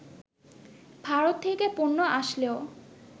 ভারত থেকে পণ্য আসলেও